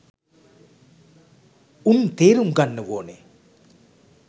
උන් තේරුම් ගන්න ඕනේ